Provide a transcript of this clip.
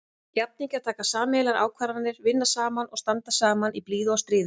Jafningjar taka sameiginlegar ákvarðanir, vinna saman og standa saman í blíðu og stríðu.